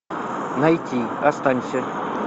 найти останься